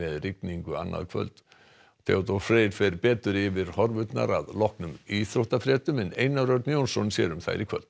rigningu annað kvöld Theodór Freyr fer betur yfir horfurnar að loknum íþróttafréttum en Einar Örn Jónsson sér um þær í kvöld